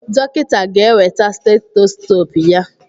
Dọkịta ga-eweta steteskoopu ya.